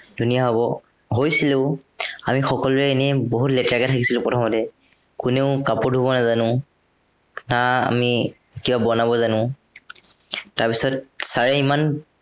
ধুনীয়া হ'ব, হৈছিলেও। আমি সকলোৱে এনেই বহুত লেতেৰাকে থাকিছিলো প্ৰথমতে। কোনেও কাপোৰ ধোৱ নাজানো। না আমি কিবা বনাব জানো। তাৰপিছত sir এ ইমান